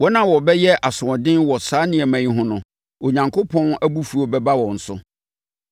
Wɔn a wɔbɛyɛ asoɔden wɔ saa nneɛma no ho no, Onyankopɔn abufuo bɛba wɔn so.